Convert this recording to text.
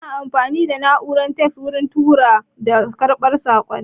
Ana amfani da na'urar faks wurin turawa da karɓar saƙonni